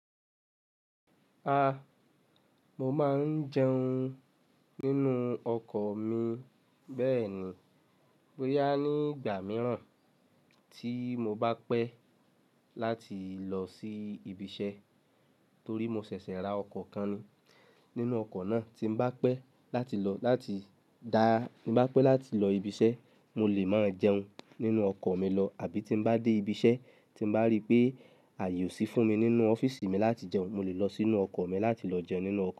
A! Mo máa ń jẹun nínú ọkọ̀ mi. Bẹ́ẹ̀ni, boya ni nígbà mìíràn tí mo bá pẹ́ láti lọ sí ibi iṣẹ́ torí mo ṣẹ̀ṣẹ̀ ra ọkọ̀ kan ni. Nínú ọkọ̀ náà tí n bá pẹ́ láti lọ láti dá, ní bá pẹ́ láti lọ ibi iṣẹ́, mo lè máa jẹun nínú ọkọ̀ mi lọ àbí tí n bá dé ibi iṣẹ́ tí n bá rí pé àyè ò sí fún mi nínú ọ́fíìsì mi láti jẹun, mo lè lọ sínú ọkọ̀ mi láti lọ jẹun nínú ọ̀kọ́